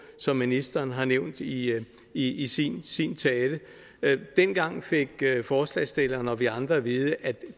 som ministeren har nævnt i i sin sin tale dengang fik forslagsstillerne og vi andre at vide at